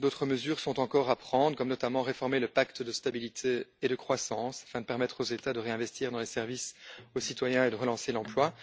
D'autres mesures sont encore à prendre, comme, notamment, réformer le pacte de stabilité et de croissance afin de permettre aux États de réinvestir dans les services aux citoyens et de relancer l'emploi.